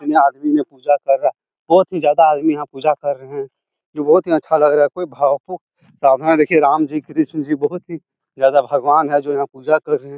ये आदमी पूजा करा रहा है। बोहोत ही आदमी ज्यादा याहा पूजा कर रहे है। की बोहोत ही अच्छा लग राहा की भाव कु सामने देखिये राम जी कृष्णा जी बोहोत ही ज्यादा भगवान जो याहा पूजा कर रहे है।